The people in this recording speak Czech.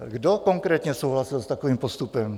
Kdo konkrétně souhlasil s takovým postupem?